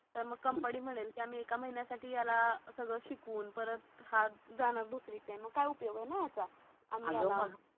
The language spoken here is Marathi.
तर मग कंपनी म्हणेन आम्ही एका महिन्या साठी याला सगळ शिकवून परत हा जाणार दुसरी कडे मग काय उप्गोय ये ना याचा